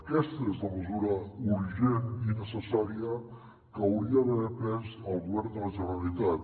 aquesta és la mesura urgent i necessària que hauria d’haver pres el govern de la generalitat